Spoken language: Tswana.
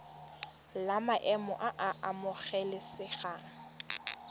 la maemo a a amogelesegang